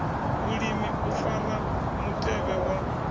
vhulimi u fara mutevhe wa